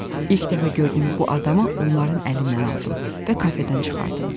İlk dəfə gördüyüm bu adamı onların əlindən aldım və kafedən çıxardım.